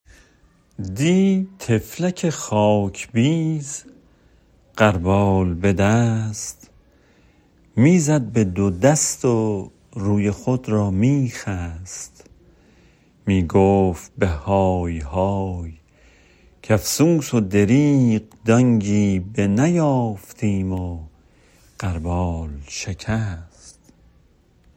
دی طفلک خاک بیز غربال به دست می زد به دو دست و روی خود را می خست می گفت به های های کافسوس و دریغ دانگی بنیافتیم و غربال شکست